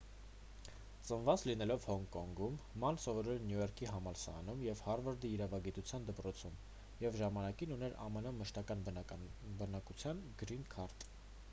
ծնված լինելով հոնկոնգում ման սովորել է նյու յորքի համալսարանում և հարվարդի իրավագիտության դպրոցում և ժամանակին ուներ ամն մշտական բնակության գրին քարտ